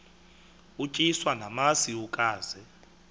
utyiswa namasi ukaze